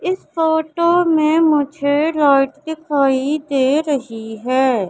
इस फोटो मे मुझे लाइट दिखाई दे रही है।